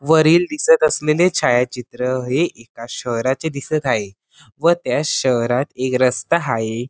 वरील दिसत असलेले छायाचित्र हे एका शहराचे दिसत हाये व त्या शहरात एक रस्ता हाये.